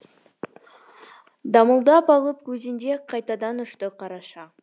дамылдап алып өзенде қайтадан ұшты қараша